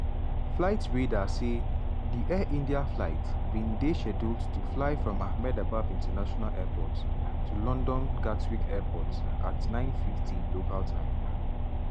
flight radar say di air india flight bin dey scheduled to fly from ahmedabad international airport to london gatwick airport at 09:50 local time.